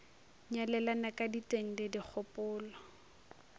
nyalelana ka diteng le dikgopolo